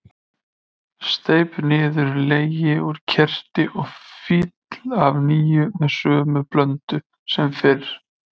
Steyp niður legi úr keri og fyll af nýju með sömu blöndu sem fyrr.